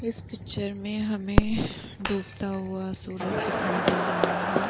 इस पिक्चर में हमें डूबता हुआ सूरज दिखाई दे रहा है।